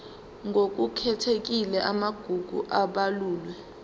ngokukhethekile amagugu abalulwe